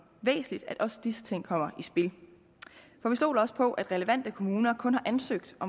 væsentligt at også disse ting kommer i spil for vi stoler også på at relevante kommuner kun har ansøgt om